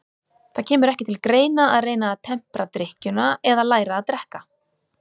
Það kemur ekki til greina að reyna að tempra drykkjuna eða læra að drekka.